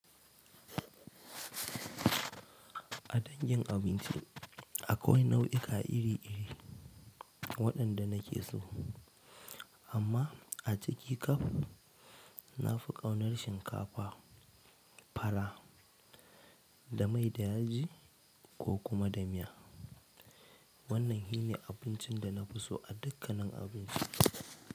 A dangin abinci akwai nau'ika iri-iri waɗanda na ke so, amma a ciki kaf na fi ƙaunar shinkafa, fara da mai da yaji ko kuma da miya. Wannan shi ne abincin da na fi so a dukkanin abinci.